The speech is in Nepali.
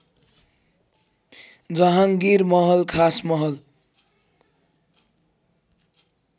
जहाँगीर मह्ल खास महल